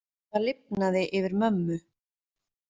Það lifnaði yfir mömmu.